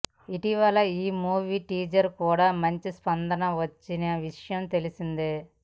ఇటీవల ఈ movie teaser కూడా మంచి స్పందన వచ్చిన విషయం తెలిసిందే